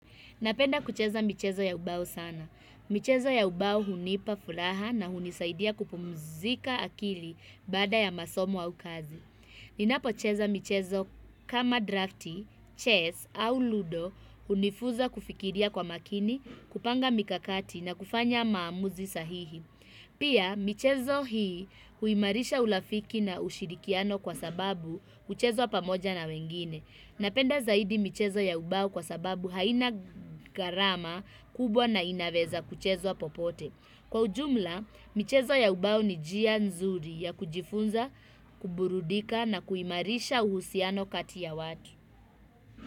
Napenda kucheza michezo ya ubao sana. Michezo ya ubao hunipa furaha na hunisaidia kupumzika akili bada ya masomo au kazi. Ninapocheza michezo kama drafti, chess au ludo hunifunza kufikiria kwa makini, kupanga mikakati na kufanya maamuzi sahihi. Pia, michezo hii huimarisha ulafiki na ushirikiano kwa sababu huchezwa pamoja na wengine. Napenda zaidi michezo ya ubao kwa sababu haina gharama kubwa na inaweza kuchezwa popote. Kwa ujumla, michezo ya ubao ni njia nzuri ya kujifunza, kuburudika na kuimarisha uhusiano kati ya watu.